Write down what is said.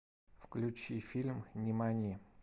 включи фильм нимани